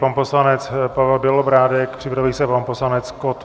Pan poslanec Pavel Bělobrádek, připraví se pan poslanec Kott.